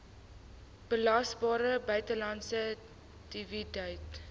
belasbare buitelandse dividend